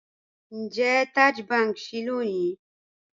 Ńjẹ̀ Taj Bank ṣíì lónì?